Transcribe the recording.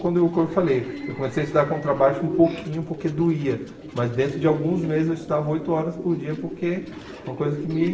Quando eu co falei, eu comecei a estudar contrabaixo um pouquinho porque doía, mas dentro de alguns meses eu estudava oito horas por dia porque foi uma coisa que me